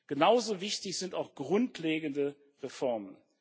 Genauso wichtig sind auch grundlegende Reformen.